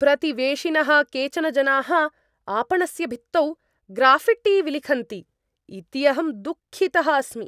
प्रतिवेशिनः केचन जनाः आपणस्य भित्तौ ग्राऴिट्टि विलिखन्ति इति अहं दुःखितः अस्मि।